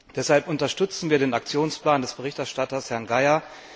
Deshalb unterstützen wir den Aktionsplan des Berichterstatters, Herrn Geier.